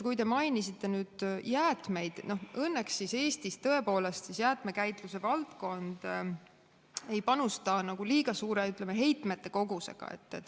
Kui te mainisite jäätmeid, siis õnneks Eestis tõepoolest jäätmekäitluse valdkond liiga suure heitmete kogusega ei panusta.